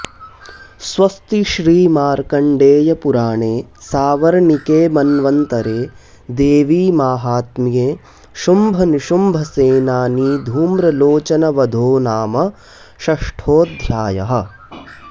स्वस्ति श्रीमार्कण्डेयपुराणे सावर्णिके मन्वन्तरे देवीमाहात्म्ये शुम्भनिशुम्भसेनानीधूम्रलोचनवधो नाम षष्ठोऽध्यायः